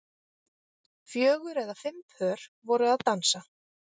Fjögur eða fimm pör voru að dansa